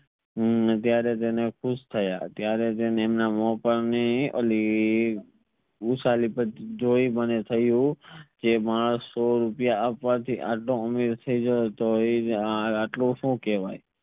હમ ત્યરેહ તને ખુશ થયા ત્યરેહ તેમના મોહ પર ની અલી જોઈ પછી મને થયું તે માણસ સો રૂપિયા આપવા થી આટલો આમિર થઈ ગયો આટલું હું કહવે